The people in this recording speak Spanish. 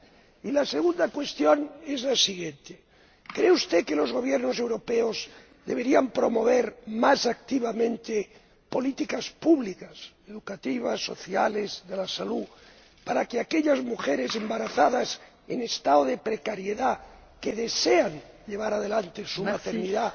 Y la segunda cuestión es la siguiente ¿cree usted que los Gobiernos europeos deberían promover más activamente políticas públicas —educativas, sociales, de la salud— para que las mujeres embarazadas, en situación de precariedad, que deseen llevar adelante su maternidad